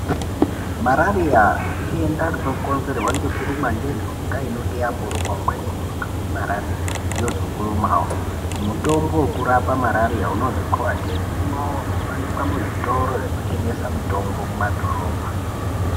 Marariya idenda rinokonzerwa ngekurumwa ngenhunga inonga yamboruma umweni munhu marariya yozokurumawo. Mutombo wekurape marariya unozi khoadhemu unowanikwa muzvitoro zvinotengesa mitombo mumadhorobha.